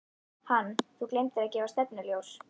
Hann: Þú gleymdir að gefa stefnuljós.